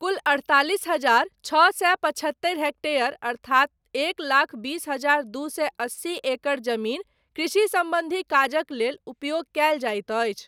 कुल, अड़तालिस हजार छओ सए पचहत्तरि हेक्टेयर अर्थात एक लाख बीस हजार दू सए अस्सी एकड़ जमीन, कृषि सम्बन्धी काजक लेल, उपयोग कयल जाइत अछि।